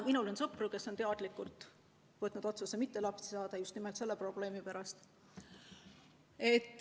Minul on sõpru, kes on teadlikult langetanud otsuse mitte lapsi saada just nimelt selle probleemi pärast.